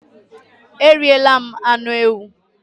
eriela m anu ewu